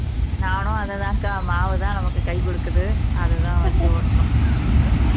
நானும் அதைத்தான் அக்கா மாவுதான் நமக்கு கை கொடுக்குது அதைத்தான் வச்சி ஓட்டணும்